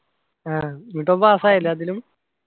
ആഹ് എന്നിട്ട് ഓൻ pass ആയി എല്ലാത്തിലും